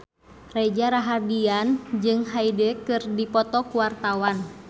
Reza Rahardian jeung Hyde keur dipoto ku wartawan